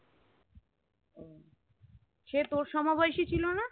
সে তোর সমবয়সী ছিলো না